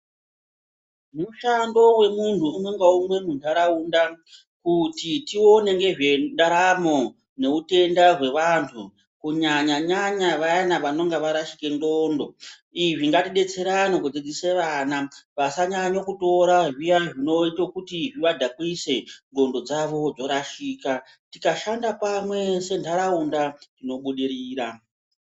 Mushando wemuntu umwe ngaumwe muntaraunda kuti tione ngezvendaramo neutenda hweantu kunyanya-nyanya vaya vanenge varashika nxondo. Izvi ngatidetserane kudzidzisa vana kuti vasanyanya kutora zviya zvinoita kuti zvivadhakwise ,nxondo dzavo dzorashika. Tikashanda pamwe sentaraunda tobudirira.